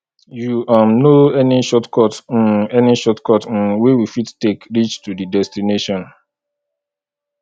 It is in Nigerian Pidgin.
you um know any shortcut um any shortcut um wey we fit take reach to di destination